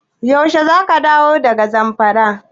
Yaushe za ka dawo daga Zamfara?